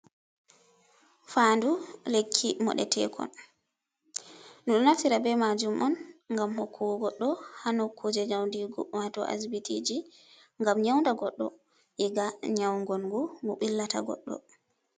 Fandu lekki modetekon, ɗum natira be majum on gam hokkugo goddo ha nokuje nyaudigu wato asbitiji, gam nyaunda godɗo, iga nyaugongu gu billata godɗo.